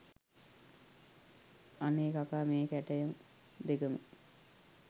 අනේ කකා මේ කැටයම් දෙකම